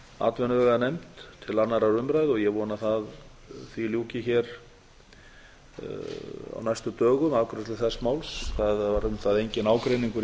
atvinnuveganefnd til annarrar umræðu og ég vona að afgreiðslu þess máls ljúki hér á næstu dögum það var um það enginn ágreiningur